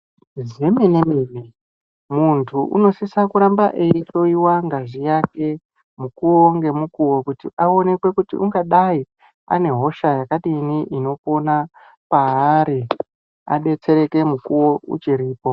Zvemene-mene. muntu unosisa kuramba eihloiwa ngazi yake, mukuwo ngemukuwo kuti aonekwe kuti ungadai ane hosha yakadini ,inopona kwaari, adetsereke mukuwo uchiripo.